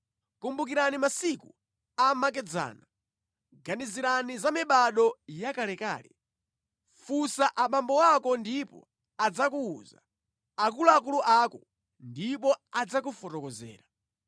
Kumbukirani masiku amakedzana; ganizirani za mibado yakalekale. Funsa abambo ako ndipo adzakuwuza, akuluakulu ako, ndipo adzakufotokozera.